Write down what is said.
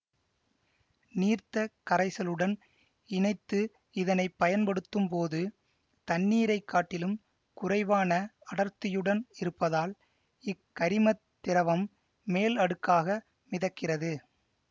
நீர்த்த கரைசளுடன் இணைத்து இதனை பயன்படுத்தும்போது தண்ணீரை காட்டிலும் குறைவான அடர்த்தியுடன் இருப்பதால் இக்கரிமத் திரவம் மேல் அடுக்காக மிதக்கிறது